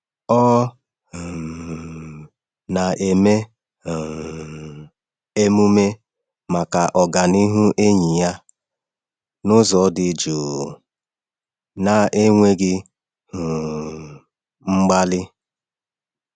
Ọ um na-eme um emume maka ọganihu enyi ya n’ụzọ dị jụụ na-enweghị um mgbali.